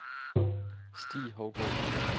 Stig Hougaard